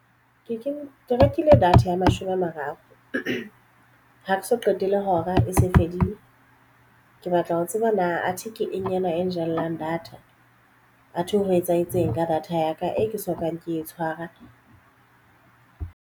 Ke rekile data ya mashome a mararo ha ke so qete le hora e se fedile ke batla ho tseba na athe ke eng e jellang data athe ho etsahetseng ka data ya ka e ke soka ke e tshwara.